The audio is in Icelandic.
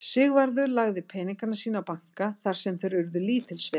Sigvarður lagði peninga sína á banka þar sem þeir urðu lítils virði.